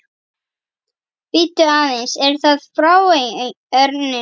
Bíddu aðeins, er það frá Erninum?